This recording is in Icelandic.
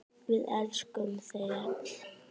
Við elskum þau öll.